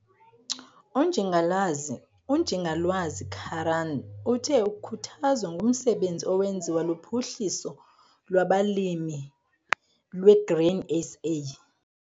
UNjingalwazi Karaan uthe ukhuthazwa ngumsebenzi owenziwa luPhuhliso lwabaLimi lweGrain SA.